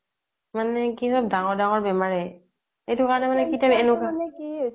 মানে কি হ'ল ডাঙৰ ডাঙৰ বেমাৰেই